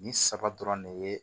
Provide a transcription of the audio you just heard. Nin saba dɔrɔn de ye